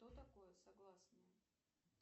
что такое согласные